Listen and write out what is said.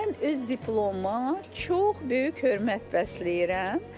Mən öz diplomuma çox böyük hörmət bəsləyirəm.